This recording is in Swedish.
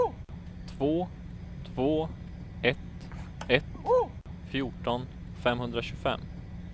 två två ett ett fjorton femhundratjugofem